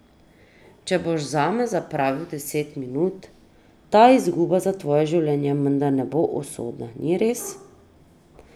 Če boš zame zapravil deset minut, ta izguba za tvoje življenje menda ne bo usodna, ni res?